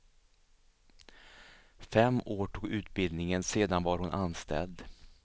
Fem år tog utbildningen, sedan var hon anställd.